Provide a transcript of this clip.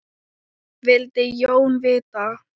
vildi Jón vita.